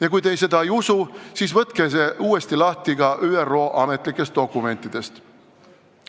Ja kui te ei usu, siis võtke see uuesti lahti ka ÜRO ametlikest dokumentidest.